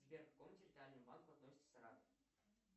сбер к какому территориальному банку относится саратов